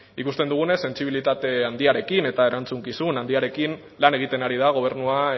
ikusten dugunez sentsibilitate handiarekin eta erantzukizun handiarekin lan egiten ari da gobernua